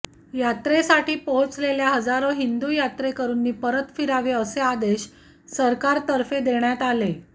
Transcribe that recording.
यात्रेसाठी पोहोचलेल्या हजारो हिंदू यात्रेकरूंनी परत फिरावे असे आदेश सरकारतर्फे देण्यात आले